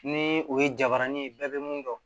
Ni o ye jabarani ye bɛɛ bɛ mun dɔn